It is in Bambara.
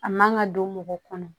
A man ka don mɔgɔ kɔnɔ